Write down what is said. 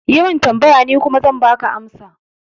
Yi min tambaya, ni kuma zan baka amsa